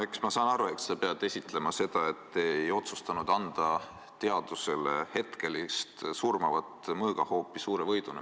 Eks ma saan aru, et sa pead esitlema seda, et te ei otsustanud anda teadusele hetkega surmavat mõõgahoopi, suure võiduna.